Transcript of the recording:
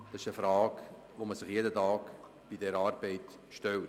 Diese Frage muss man sich bei dieser Arbeit jeden Tag stellen.